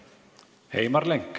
Heimar Lenk.